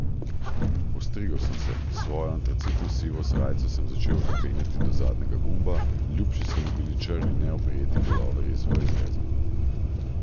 Ostrigel sem se, svoje antracitno sive srajce sem začel zapenjati do zadnjega gumba, ljubši so mi bili črni neoprijeti puloverji z V izrezom.